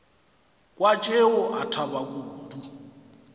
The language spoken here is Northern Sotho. kwa tšeo a thaba kudu